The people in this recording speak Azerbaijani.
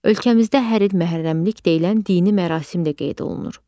Ölkəmizdə hər il Məhərrəmlik deyilən dini mərasim də qeyd olunur.